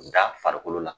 Da farikolo la